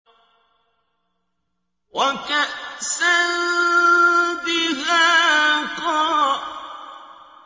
وَكَأْسًا دِهَاقًا